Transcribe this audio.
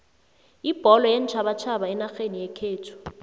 ibholo yeentjhabatjhaba enarheni yekhethu